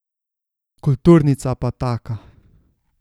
Kulturnica pa taka.